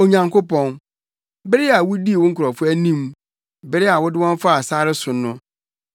Onyankopɔn, bere a wudii wo nkurɔfo anim, bere a wode wɔn faa sare so no,